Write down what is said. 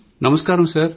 నమస్కారమండీ